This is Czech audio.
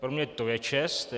Pro mě to je čest.